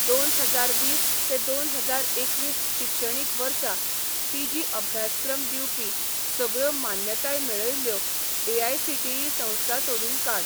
दोन हजार वीस ते दोन हजार एकवीस शिक्षणीक वर्सा पीजी अभ्यासक्रम दिवपी सगळ्यो मान्यताय मेळयल्ल्यो एआयसीटीई संस्था सोदून काड.